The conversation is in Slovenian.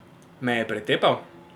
Me je pretepal?